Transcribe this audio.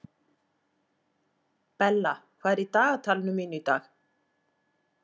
Bella, hvað er í dagatalinu mínu í dag?